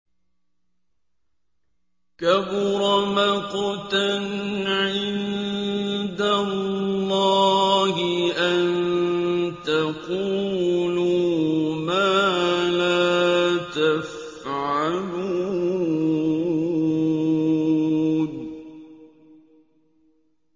كَبُرَ مَقْتًا عِندَ اللَّهِ أَن تَقُولُوا مَا لَا تَفْعَلُونَ